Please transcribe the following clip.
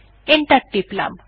enter টিপলাম